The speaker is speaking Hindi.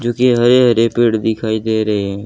जोकि हरे हरे पेड़ दिखाई दे रहे--